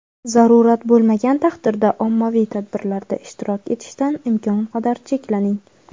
zarurat bo‘lmagan taqdirda ommaviy tadbirlarda ishtirok etishdan imkon qadar cheklaning!.